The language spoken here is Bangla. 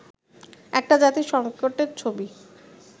একটা জাতির সংকটের ছবি